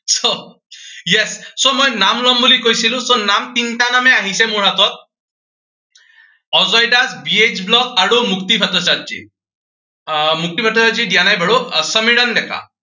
yes, so মই নাম লম বুলি কৈছিলো, so নাম, তিনটা নামেই আহিছে মোৰ হাতত অজয় দাস, বে এইচ ব্লগ আৰু মুক্তি ভট্টাচাৰ্যি। আহ মুক্তি ভট্টাচাৰ্যিয়ে দিয়া নাই, আহ সমীৰণ ডেকা।